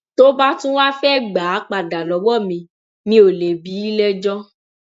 tó bá tún wáá fẹẹ gbà á padà lọwọ mi mi ò lè bí i lẹjọ